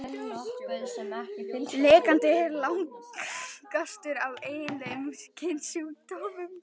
Lekandi er langalgengastur af eiginlegum kynsjúkdómum.